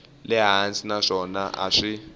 le hansi naswona a swi